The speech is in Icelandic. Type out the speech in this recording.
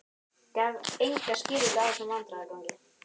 Gaf enga skýringu á þessum vandræðagangi.